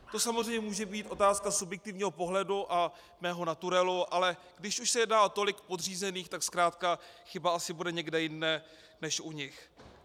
To samozřejmě může být otázka subjektivního pohledu a mého naturelu, ale když už se jedná o tolik podřízených, tak zkrátka chyba asi bude někde jinde než u nich.